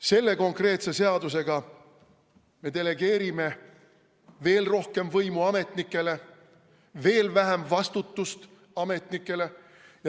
Selle konkreetse seaduseelnõuga me delegeerime ametnikele veelgi rohkem võimu ja ühtlasi vähendame nende vastutust.